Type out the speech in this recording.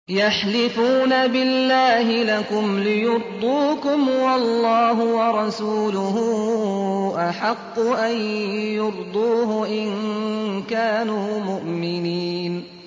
يَحْلِفُونَ بِاللَّهِ لَكُمْ لِيُرْضُوكُمْ وَاللَّهُ وَرَسُولُهُ أَحَقُّ أَن يُرْضُوهُ إِن كَانُوا مُؤْمِنِينَ